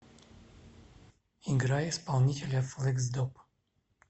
играй исполнителя флексдоп